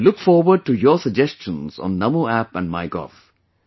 I look forward to your suggestions on Namo app and MyGov